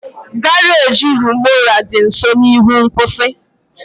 Garaji Rumuola dị nso n'ihu nkwụsị.